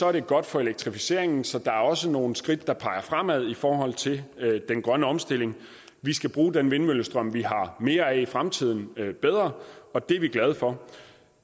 er det godt for elektrificeringen så der er også nogle skridt der peger fremad i forhold til den grønne omstilling vi skal bruge den vindmøllestrøm vi har mere af i fremtiden bedre og det er vi glade for